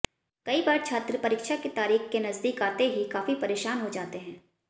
कई बार छात्र परीक्षा की तारीख के नजदीक आते ही काफी परेशान हो जाते हैं